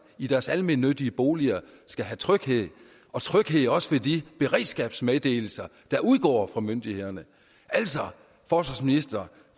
i deres almennyttige boliger skal have tryghed tryghed også ved de beredskabsmeddelelser der udgår fra myndighederne altså forsvarsministeren